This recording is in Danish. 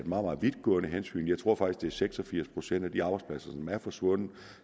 meget vidtgående hensyn jeg tror faktisk at seks og firs procent af de arbejdspladser som er forsvundet